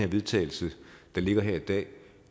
vedtagelse der ligger her i dag